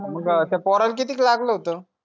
मग पोराला कितीक लागल होत